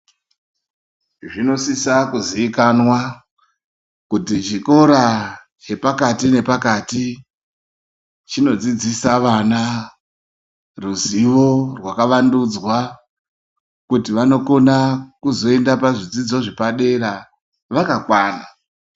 Zvinosisa kuziikanwa, kuti chikora chepakati nepakati, chinodziidzisa vana, ruzivo rwakavandudzwa, kuti vanokona kuzoenda kuzvidzidzo zvepadera, vakakwana.